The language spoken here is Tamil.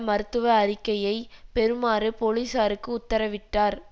மருத்துவ அறிக்கையை பெறுமாறு பொலிசாருக்கு உத்தரவிட்டார்